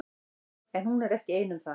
En hún er ekki ein um það.